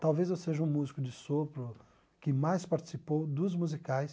Talvez eu seja o músico de sopro que mais participou dos musicais.